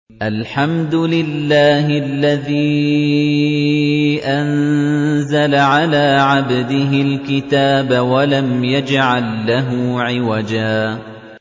الْحَمْدُ لِلَّهِ الَّذِي أَنزَلَ عَلَىٰ عَبْدِهِ الْكِتَابَ وَلَمْ يَجْعَل لَّهُ عِوَجًا ۜ